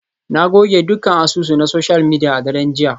Na goge dukkan asusu na social media a daren jiya.